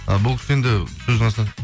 і бұл кісі енді сөздің астына